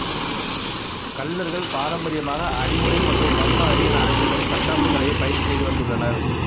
கள்ளர்கள் பாரம்பரியமாக அடிமுறை மற்றும் வர்ம அடி என அழைக்கப்படும் தற்காப்புக் கலையை பயிற்சி செய்துவந்துள்ளனர்